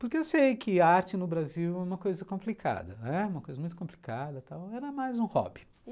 Porque eu sei que arte no Brasil é uma coisa complicada, né, é uma coisa muito complicada tal, era mais um hobby. E